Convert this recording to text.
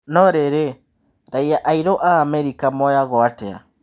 No rĩrĩ raiya airũ a Amerika moyaguo atĩa ?